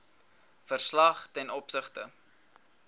verslag ten opsigte